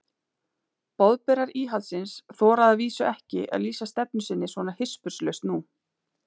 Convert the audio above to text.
Boðberar íhaldsins þora að vísu ekki að lýsa stefnu sinni svona hispurslaust nú.